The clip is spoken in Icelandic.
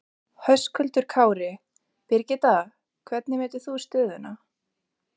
Höskuldur Kári: Birgitta, hvernig metur þú stöðuna?